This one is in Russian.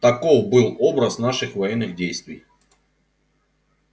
таков был образ наших военных действий